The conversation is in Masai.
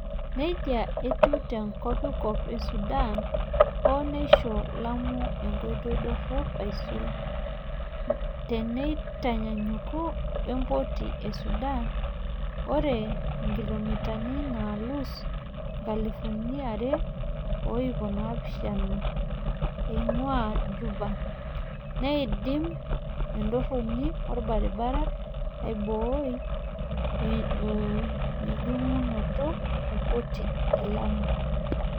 Nejia etiu te Kopikop Sudan, hoo neisho Lamu enkoitoi dorop aisul teinintanyanyuk wempoti e Sudan, ore inkilomitani naalus nkalifuni are o iip oopishana eingua Juba, neidim entoroni olbaribara aibooi ejingunoto e mpoti e Lamu.